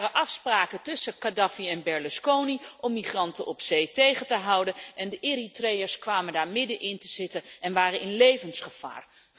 Er waren afspraken tussen Kadhafi en Berlusconi om migranten op zee tegen te houden en de Eritreeërs kwamen daar middenin te zitten en waren in levensgevaar.